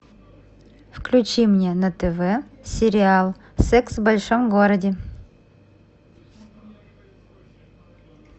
включи мне на тв сериал секс в большом городе